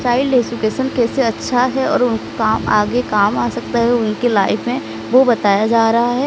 Child education कैसे अच्छा है और काम आगे काम आ सकता है उनकी लाइफ में वो बताया जा रहा है।